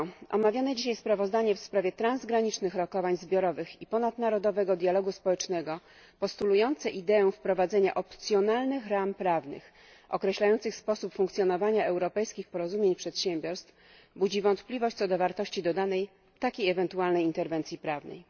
Omawiane dzisiaj sprawozdanie w sprawie transgranicznych rokowań zbiorowych i ponadnarodowego dialogu społecznego, postulujące ideę wprowadzenia opcjonalnych ram prawnych określających sposób funkcjonowania europejskich porozumień przedsiębiorstw, budzi wątpliwość co do wartości dodanej takiej ewentualnej interwencji prawnej.